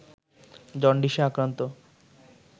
জন্ডিসে আক্রান্ত